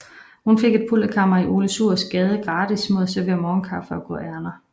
Hun fik et pulterkammer i Ole Suhrs Gade gratis mod at servere morgenkaffe og gå ærinder